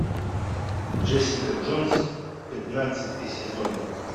джессика джонс пятнадцатый сезон